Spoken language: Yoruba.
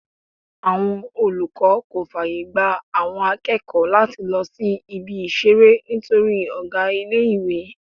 Àwọn olùkọ́ kò fàyègba àwọn akẹ́kọ̀ọ́ láti lọ sí Ibi-ìṣeré nítorí ọ̀gá ilé-ìwé.